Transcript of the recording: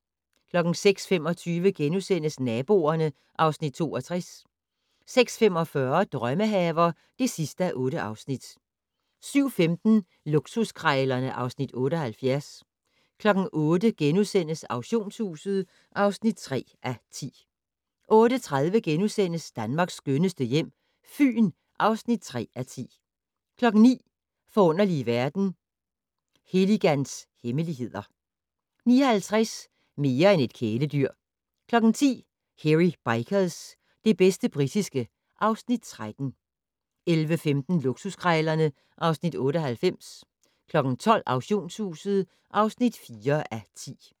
06:25: Naboerne (Afs. 62)* 06:45: Drømmehaver (8:8) 07:15: Luksuskrejlerne (Afs. 78) 08:00: Auktionshuset (3:10)* 08:30: Danmarks skønneste hjem - Fyn (3:10)* 09:00: Forunderlige verden - Heligans hemmeligheder 09:50: Mere end et kæledyr 10:00: Hairy Bikers - det bedste britiske (Afs. 13) 11:15: Luksuskrejlerne (Afs. 98) 12:00: Auktionshuset (4:10)